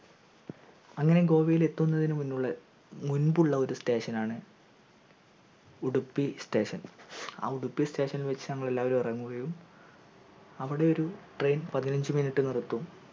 അങ്ങനെ ഗോവായത്തിലെത്തുന്നത്തിനു മുന്നിലുള്ള മുമ്പുള്ള ഒരു station ആണ് ഉഡുപ്പി station ആ ഉഡുപ്പി station ഇൽ വെച്ച് ഞങ്ങൾ എല്ലാവരും ഇറങ്ങുകയും അവിടെ ഒരു train പതിനഞ്ചു minute നിർത്തും